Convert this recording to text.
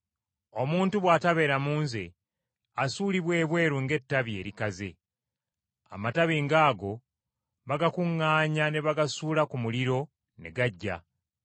Omuntu bw’atabeera mu nze asuulibwa ebweru ng’ettabi erikaze. Amatabi ng’ago bagakuŋŋaanya ne bagasuula ku muliro ne gaggya.